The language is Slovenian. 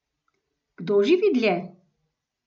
Kdo živi dlje?